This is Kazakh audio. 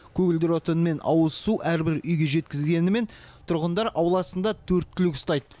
көгілдір отын мен ауыз су әрбір үйге жеткізгенімен тұрғындар ауласында төрт түлік ұстайды